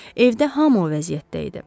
Evdə hamı o vəziyyətdə idi.